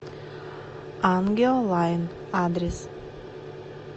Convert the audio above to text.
ангио лайн адрес